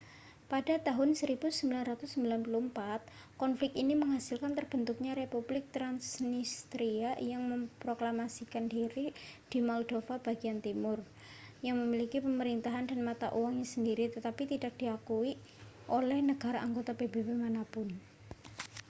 pada tahun 1994 konflik ini menghasilkan terbentuknya republik trasnistria yang memproklamasikan diri di moldova bagian timur yang memiliki pemerintahan dan mata uangnya sendiri tetapi tidak diakui oleh negara anggota pbb mana pun